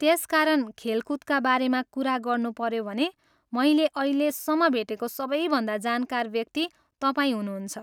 त्यसकारण खेलकुदका बारेमा कुरा गर्नुपऱ्यो भनेे मैले अहिलेसम्म भेटेको सबैभन्दा जानकार व्यक्ति तपाईँ हुनुहुन्छ।